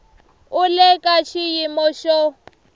u le ka xiyimo xo